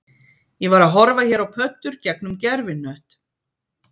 Ég var að horfa hér á pöddur gegnum gervihnött